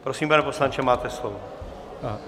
Prosím, pane poslanče, máte slovo.